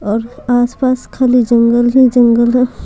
और आसपास खाली जंगल है जंगल है।